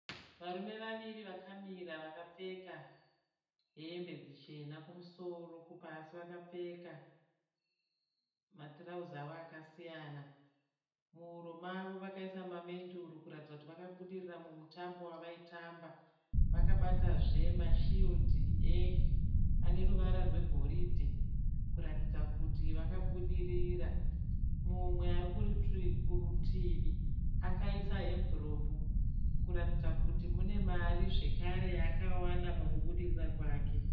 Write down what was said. Varume vaviri vakamira vakapfeka hembe dzichena kumusoro kupasi vakapfeka matirauzi avo akasiyana. Muhuro mavo vakaisa mamedhuru kuratidza kuti vakabudirira mumutambo wavaitamba. Vakabata zve mashiridhi ane ruvara rwegoridhe kuratidza kuti vakabudirira. Mumwe ari kurutivi akaisa emviropu kuratidza kuti mune mari zvakare yaakawana pakubudirira kwake.